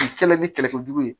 U kɛla ni kɛlɛkɛjugu ye